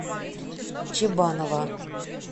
чебанова